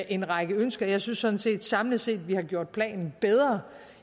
en række ønsker og jeg synes sådan set samlet set har gjort planen bedre